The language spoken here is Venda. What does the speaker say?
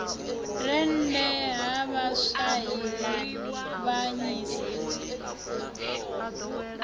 rennda ha vhashai u avhanyisa